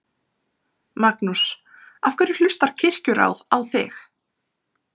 Magnús: Af hverju hlustar Kirkjuráð á þig?